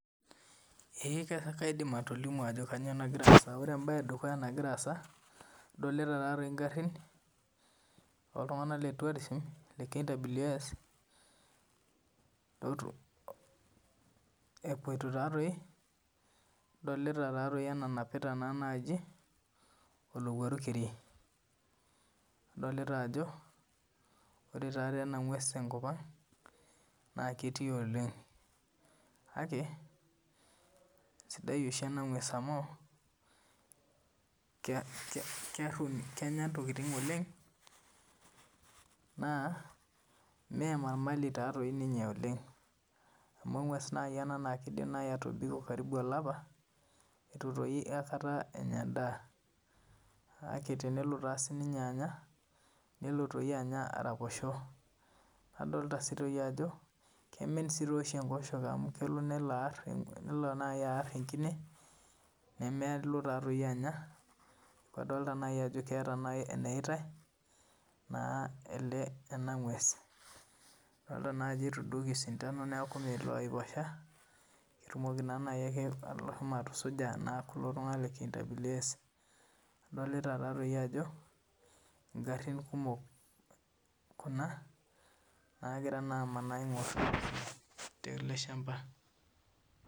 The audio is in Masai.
Ee kaidim atolimu Ajo kainyio nagira asaa ore mbae edukuya nagira asaa adolita egari oltung'ana lee tourism oltung'ana lee KWS epuoito taadoi adolita enanapita olowuaru keri nadolita Ajo ore ena ng'ues tenkop ang naa ketii oleng kake sidai oshi ena ng'ues amu Kenya ntokitin oleng naa mee marmali oleng amu engues naa kidim atobiko olapa eitu aikata Enya endaa kake tenelo sininye Anya nelo Anya araposho nadolita sii Ajo kemen sii oshi enkosheke amu kelo niar enkine nemelo Anya tenedol naaji Ajo keeta enayaitai naa ena ng'ues edol Ajo etudoki osindani neeku meelo aiposha kelo naaji asuj kulo tung'ana lee KWS adolita Ajo garin kumok Kuna nagira amanaa aing'or tele shamba